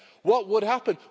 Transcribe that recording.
What would happen?